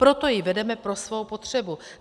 Proto ji vedeme pro svou potřebu.